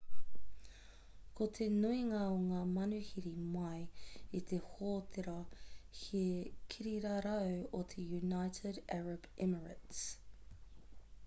ko te nuinga o ngā manuhiri mai i te hōtēra he kirirarau o te united arab emirates